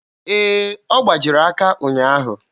Ee, ọ gbajiri aka ụnyaahụ.